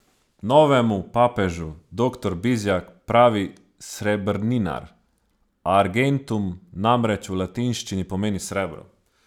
Novemu papežu doktor Bizjak pravi srebrninar, argentum namreč v latinščini pomeni srebro.